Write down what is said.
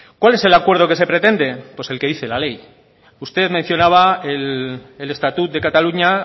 cuál es el acuerdo que se pretende pues el que dice la ley usted mencionaba el estatut de cataluña